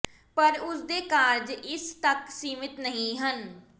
ਪਰ ਉਸ ਦੇ ਕਾਰਜ ਇਸ ਤੱਕ ਸੀਮਿਤ ਨਹੀਂ ਹਨ